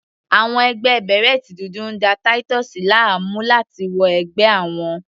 Àwọn ẹgbẹ́ bèrẹ́tì dúdú ń da Titus láàmú láti wọ ẹgbẹ́ àwọn.